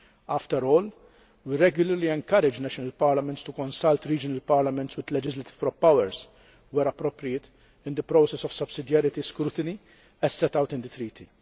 After all, we regularly encourage national parliaments to consult regional parliaments with legislative powers, where appropriate, in the process of subsidiarity scrutiny, as set out in the Treaty.